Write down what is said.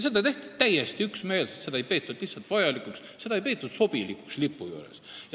Seda tehti täiesti üksmeelselt, seda ei peetud lipu puhul lihtsalt vajalikuks, seda ei peetud sobilikuks.